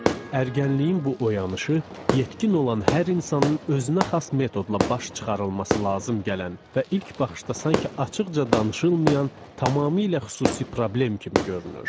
Ərgənliyin bu oyanışı, yetkin olan hər insanın özünəxas metodla baş çıxarılması lazım gələn və ilk baxışda sanki açıqca danışılmayan, tamamilə xüsusi problem kimi görünür.